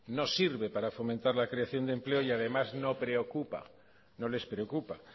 no sirve para fomentar la creación de empleo y además no les preocupa